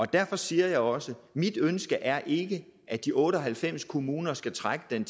derfor siger jeg også mit ønske er ikke at de otte og halvfems kommuner skal trække den